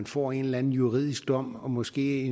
får en eller anden juridisk dom og måske